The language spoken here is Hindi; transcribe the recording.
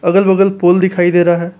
अगल बगल पोल दिखाई दे रहा है।